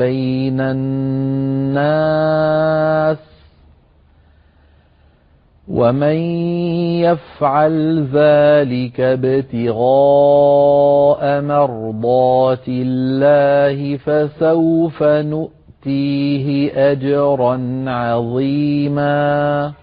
بَيْنَ النَّاسِ ۚ وَمَن يَفْعَلْ ذَٰلِكَ ابْتِغَاءَ مَرْضَاتِ اللَّهِ فَسَوْفَ نُؤْتِيهِ أَجْرًا عَظِيمًا